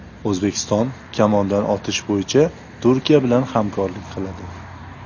O‘zbekiston kamondan otish bo‘yicha Turkiya bilan hamkorlik qiladi.